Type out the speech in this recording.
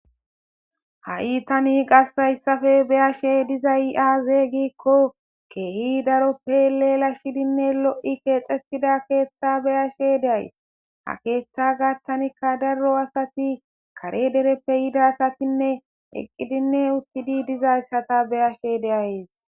ha7i tani qassayssafe beyashe dizay aaze giikko keehi daroppe leelashshidinne lo7i keexettida keeththa beyashe deays ha keeththa gattanikka daro asati kare dereppe yida asatinne eqqidinne uttidi dizayssata beyashe deayes